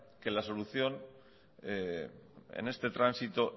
que la solución en este transito